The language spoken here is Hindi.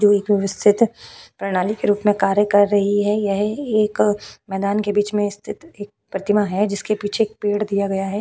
थोड़ी दूर स्थित प्रणाली के रूप में कार्य कर रही है यह एक मैदान के बीच में स्थित एक प्रतिमा है जिसके पीछे एक पेड़ दिया गया हैं।